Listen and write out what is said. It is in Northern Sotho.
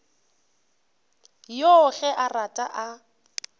yoo ge a rata a